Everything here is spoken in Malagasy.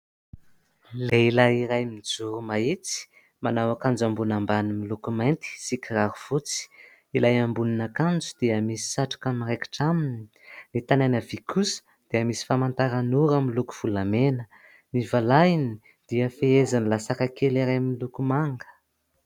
Lehilahy iray mijoro mahitsy manao akanjo ambony ambany miloko mainty sy kiraro fotsy. Ilay ambonin'akanjo dia misy satroka miraikitra aminy, ny tanany havia kosa dia misy famantaranora miloko volamena. Ny valahany dia fehezin'ilay"sac" kely iray miloko manga.